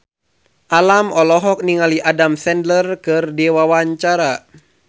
Alam olohok ningali Adam Sandler keur diwawancara